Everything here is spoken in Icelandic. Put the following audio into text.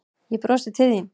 Ég brosi til þín.